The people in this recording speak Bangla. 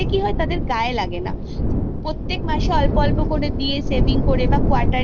তাতে কি হয় তাদের গায় লাগে না প্রতি মাসে অল্প অল্প দিয়ে saving করে বা